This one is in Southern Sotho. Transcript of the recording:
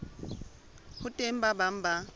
ho teng ba bang ba